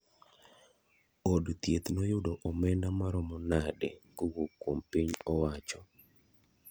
Od thieth noyudo omenda maromo nade kowuok kuom piny owacho?